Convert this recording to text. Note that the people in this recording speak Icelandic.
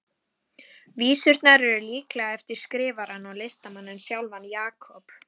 Vísurnar eru líklega eftir skrifarann og listamanninn sjálfan, Jakob